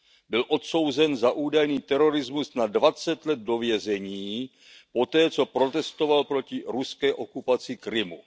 Byl odsouzen za údajný terorismus na dvacet let do vězení poté, co protestoval proti ruské okupaci Krymu.